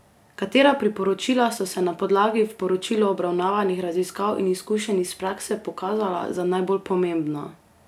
Katera priporočila so se na podlagi v poročilu obravnavanih raziskav in izkušenj iz prakse pokazala za najbolj pomembna?